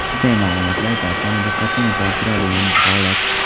Bunday ma’lumotlar esa barchani diqqatini tortiradigan holat.